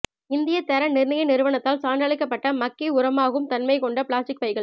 இந்திய தர நிர்ணய நிறுவனத்தால் சான்றளிக்கப்பட்ட மக்கி உரமாகும் தன்மைகொண்ட பிளாஸ்டிக் பைகள்